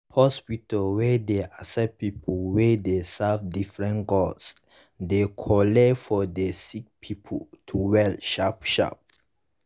hospitas wen dey accept people wey dey serve differefent gods dey cooleee for the sick pple to well sharp sharp